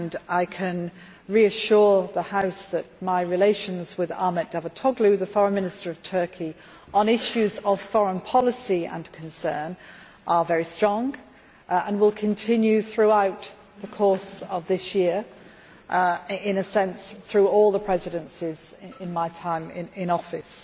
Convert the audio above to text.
I can reassure the House that my relations with Ahmet Davutoğlu, the Foreign Minister of Turkey, on issues of foreign policy and concern are very strong and will continue throughout the course of this year, and in a sense throughout all the Presidencies in my time in office.